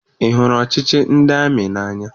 Ị hụrụ ọchịchị ndị amị n'anya?